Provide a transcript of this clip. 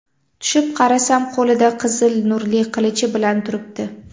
Tushib qarasam, qo‘lida qizil nurli qilichi bilan turibdi.